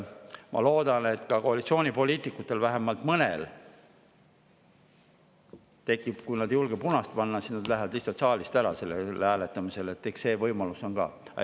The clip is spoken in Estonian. Ma loodan, et ka koalitsioonipoliitikutel, vähemalt mõnel, tekib või kui nad ei julge punast panna, siis nad lähevad lihtsalt saalist ära sellel hääletamisel, eks see võimalus on ka.